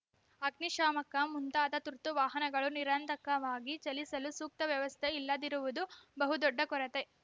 ಅಗ್ನಿಶಾಮಕ ಮುಂತಾದ ತುರ್ತು ವಾಹನಗಳು ನಿರಾತಂಕವಾಗಿ ಚಲಿಸಲು ಸೂಕ್ತ ವ್ಯವಸ್ಥೆ ಇಲ್ಲದಿರುವುದು ಬಹುದೊಡ್ಡ ಕೊರತೆ